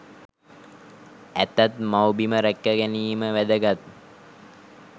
ඇතත් මව්බිම රැක ගැනීම වැදගත්.